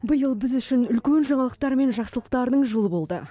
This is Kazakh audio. биыл біз үшін үлкен жаңалықтар мен жақсылықтардың жылы болды